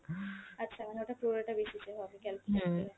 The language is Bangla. আচ্ছা, মানে ওটা পুরোটা হিসেবে হবে, calculation ।